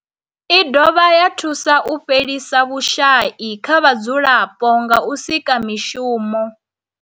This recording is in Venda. I dovha ya thusa u fhelisa vhushayi kha vhadzulapo nga u sika mishumo.